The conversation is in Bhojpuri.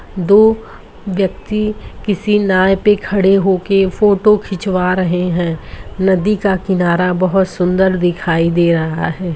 दो व्यक्ति किसी नाय पे खड़े होके फोटो खीच्वा रहे हैं नदी का किनारा बहुत सुंदर दिखाइ दे रहा है।